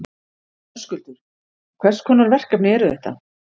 Höskuldur: Hvers konar verkefni eru þetta?